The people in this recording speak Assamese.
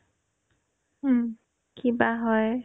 উম্, কিবা হয়